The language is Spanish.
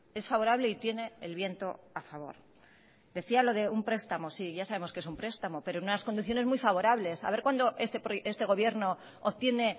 es favorable y tiene el viento a favor decía lo de un prestamo sí ya sabemos qué es un prestamo pero en unas condiciones muy favorables a ver cuándo este gobierno obtiene